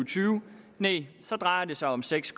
tyve nej så drejer det sig om seks